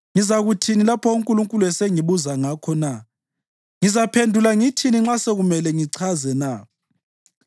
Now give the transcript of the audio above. ngizakuthini lapho uNkulunkulu esengibuza ngakho na? Ngizaphendula ngithini nxa sekumele ngichaze na?